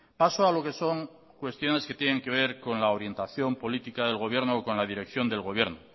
paso a lo que son cuestiones que tiene que ver con la orientación política del gobierno con la dirección del gobierno